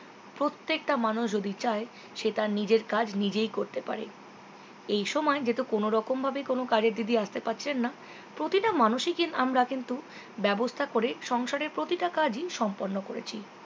প্রত্যেকটা মানুষ যদি চায় সে তার নিজের কাজ নিজেই করতে পারে এই সময় যেহেতু কোনোরকম ভাবে কোনো কাজের দিদি আসতে পারছেন না প্রতিটা মানুষই কি আমরা কিন্তু ব্যবস্থা করে সংসারের প্রতিটা কাজই সম্পূর্ণ করেছি